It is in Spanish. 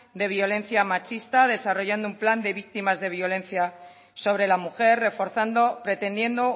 de violencia machista desarrollando un plan de víctimas de violencia sobre la mujer reforzando pretendiendo